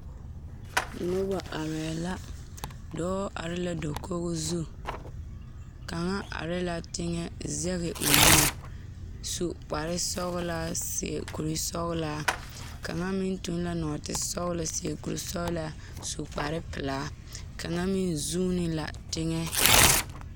Noba arɛɛ la dɔɔ are la dakoo zu kaŋa are la teŋa sege o nu su kpar sɔgelaa seɛ kuri sɔgelaa kaŋa meŋ tuŋ la nɔɔte sɔgelo seɛ kuri sɔgelaa su kpar pelaa kaŋa meŋ zoone la teŋa